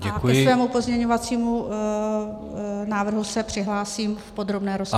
A ke svému pozměňovacímu návrhu se přihlásím v podrobné rozpravě.